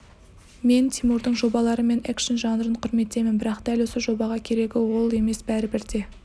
мен тимурдың жобалары мен экшн жанрын құрметтеймін бірақ дәл осы жобаға керегі ол емес бәрібір де